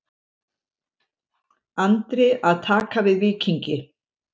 Andri að taka við Víkingi